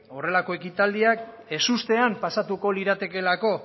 horrelako ekitaldiak ezustean pasatuko liratekeelako